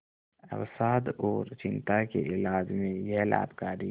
अवसाद और चिंता के इलाज में यह लाभकारी है